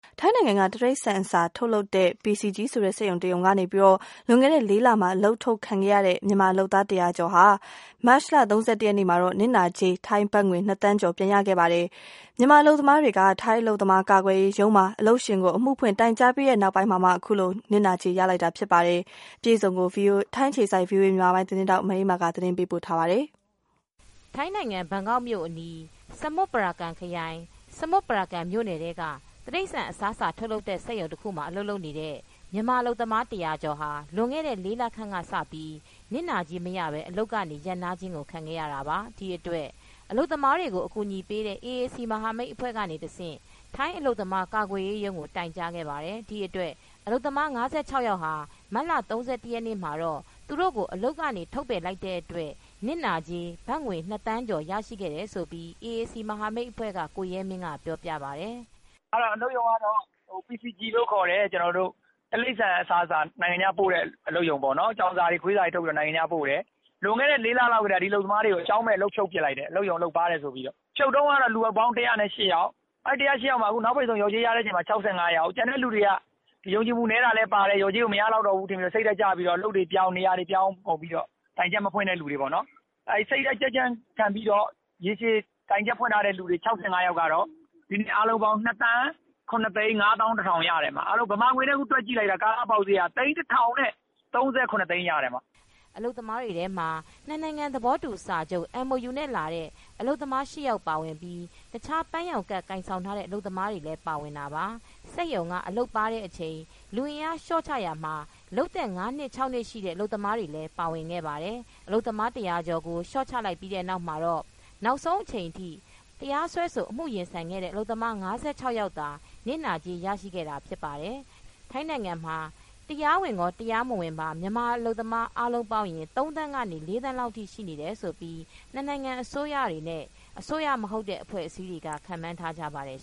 ထိုင်းနိုင်ငံက တိရစ္ဆာန်စာ ထုတ်လုပ်တဲ့ PCG ဆိုတဲ့စက်ရုံတရုံကနေ လွန်ခဲ့တဲ့ ၄ လမှာ အလုပ်ထုတ်ခံရတဲ့ မြန်မာအလုပ်သမား ၁၀၀ ကျော်ဟာ မတ်လ ၃၁ ရက်နေ့မှာတော့ နစ်နာကြေး ထိုင်းဘတ်ငွေ ၂ သန်းကျော် ရကြပါတယ်။ မြန်မာအလုပ်သမားတွေက ထိုင်း အလုပ်သမားကာကွယ်ရေးရုံးမှာ အလုပ်ရှင်ကိုအမှုဖွင့် တိုင်ကြားပြီးခဲ့တဲ့နောက် အခုလို နစ်နာကြေးငွေ ရကြတာပါ အပြည့်အစုံကို ဗွီအိုအေ ထိုင်းအခြေစိုက်သတင်းထောက် မအေးမာက သတင်းပေးပို့ထားပါတယ်။ ထိုင်းနိုင်ငံ ဘန်ကောက်မြို့အနီး ဆမွတ်ပါရာကန်ခရိုင် ဆမွန်ပါရကန်မြို့နယ်ထဲက တိရိစ္ဆာန်အစားအစာတွေ ထုတ်လုပ်တဲ့ စက်ရုံမှာ အလုပ်လုပ်တဲ့မြန်မာအလုပ်သမား ၁၀၀ကျော်ဟာ လွန်ခဲ့တဲ့ ၄လခန့်က နစ်နာကြေးမရပဲ အလုပ်တွေရပ်နားတာ ခံခဲ့ရတာပါ။ ဒီအတွက် အလုပ်သမားတွေကို အကူညီပေးတဲ့ AAC မဟာမိတ်အဖွဲ့ကတဆင့် ထိုင်းအလုပ်သမားကာကွယ်ရေးရုံးကို တိုင်ကြားခဲ့ပါတယ်။ ဒီအတွက် အလုပ်သမား ၆၅ယောက်ဟာ မတ်လ ၃၁ရက်နေ့ မှာတော့ သူတို့ကို အလုပ်ကနေ ထုတ်ပယ်လိုက်တဲ့ နစ်နာကြေး ဘတ်ငွေ ၂သန်းကျော်ကို ရရှိခဲ့တယ်လို့ AAC မဟာမိတ်အဖွဲ့က ကိုရဲမင်းကပြောပြပါတယ်။ " အလုပ်ရုံကတော့ PCG လို့ခေါ်တယ်။ တိရိစ္ဆာန်အစားအစာ နိုင်ငံခြားပို့တဲ့ အလုပ်ရုံပေါ့နော်။ ကြောင်စာတွေ ခွေးစာတွေထုတ်ပြီး နိုင်ငံခြားပို့တယ်။ လွန်ခဲ့တဲ့ ၄လလောက်ကတည်းက ဒီအလုပ်သမားတွေကို အကြောင်းမဲ့ အလုပ်ဖြုတ်ပစ်လိုက်တယ်။ အလုပ်ရုံအလုပ်ပါးတယ်ဆိုပြီးတော့ ဖြုတ်တုန်းကတော့ လူပေါင်း ၁၀၈ယောက်၊ အခုနောက်ပိတ်ဆုံး လျော်ကြေးရတဲ့အချိန်မှာ ၆၅ယောက်၊ ကျန်တဲ့သူတွေက ယုံကြည်မှုနည်း တာလည်းပါတယ် လျော်ကြေးကို မရလောက်တော့ဘူးထင်ပြီးတော့ စိတ်ဓာတ်ကျပြီးတော့ အလုပ်တွေပြောင်း နေရာတွေပြောင်းကုန်ပြီးတော့ တိုင်ချက်မဖွင့်တဲ့သူတွေပေါ့နော် အဲ့ဒီ့စိတ်ဓာတ်ကြံ့ကြံ့ခံပြီးတော့ ရေရှည်တိုင်ချက် ဖွင့်ထားတဲ့ ၆၅ ယောက်ကတော့ ငွေအားလုံးပေါင်း ၂သန်း ၇သိန်းငါးသောင်း တစ်ထောင်ရတယ်။ မြန်မာငွေနဲ့တွက်ကြည့်လိုက်တာ သိန်းတစ်ထောင်နဲ့ သုံးဆယ့်ခုနှစ်သိန်းရတယ်။" အလုပ်သမားတွေထဲမှာ နှစ်နိုင်ငံသဘောတူစာချုပ် MOU နဲ့ လာတဲ့အလုပ်သမား ၈ယောက်ပါဝင်ပြီး တခြားပန်းရောင်ကဒ် ကိုင်ဆောင်ထားတဲ့ အလုပ်သမားတွေလည်း ပါဝင်တာပါ။ စက်ရုံက အလုပ်ပါးတဲ့အချိန် လူအင်အားလျော့ချရာမှာ လုပ်သက် ၅ နှစ် ၆နှစ်ထိရှိတဲ့ အလုပ်သမားတွေလည်း ပါဝင်ခဲ့တာပါ။ အလုပ်သမား၁၀၀ကျော်ကို လျော့ချလိုက်ပြီးတဲ့နောက်မှာတော့ နောက်ဆုံး အချိန်ထိ တရားစွဲအမူ ရင်ဆိုင်ခဲ့တဲ့ အလုပ်သမား ၆၅ယောက်သာ နစ်နာကြေးရရှိခဲ့တာဖြစ်ပါတယ်။ ထိုင်းနိုင်ငံမှာ တရားမဝင်ရော တရားဝင် အလုပ်သမား အားလုံးပေါင်းရင် ၃သန်းကနေ ၄သန်းလောက်ထိ ရှိတယ်လို့ နှစ်နိုင်ငံ အစိုးရတွေနဲ့ အစိုးရမဟုတ်တဲ့အဖွဲ့အစည်းတွေကခန့်မှန်းထားပါတယ်